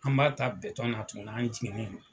An b'a ta na tun an jiginnen